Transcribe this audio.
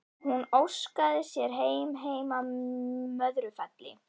Hún óskaði sér heim, heim að Möðrufelli.